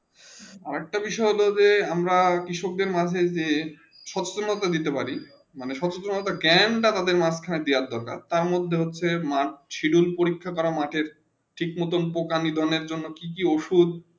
আর একটা বিষয়ে হলো যে আমরা কৃষক মাঝে যে সত্য মতন দিতে পারি মানে সূত্র মোডটাউন জ্ঞান তা তাদের দিয়া দরকার তার মদদে হচ্য়ে সিডিউল পরীক্ষা মাঠে ঠিক ভাবে পোকা নিধনে জন্য কি কি ওষুধ